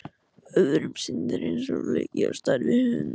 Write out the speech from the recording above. Öðrum sýndist hann eins og flykki á stærð við hund.